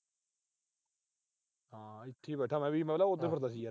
ਹਾਂ ਇੱਥੇ ਮੈਂ ਵੀ। ਪਹਿਲਾ ਉਧਰ ਫਿਰਦਾ ਸੀ ਯਾਰ।